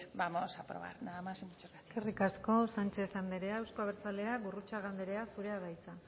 vamos a aprobar nada más y muchas gracias eskerrik asko sánchez anderea euzko abertzaleak gurrutxaga anderea zurea da hitza